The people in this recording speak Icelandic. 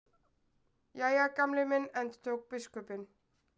Jæja, Gamli minn endurtók biskupinn.